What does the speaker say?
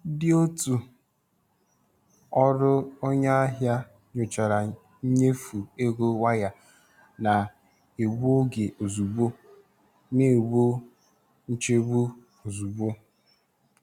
Ndị otu ọrụ onye ahịa nyochara nnyefe ego waya na-egbu oge ozugbo, na-egbo nchegbu ozugbo.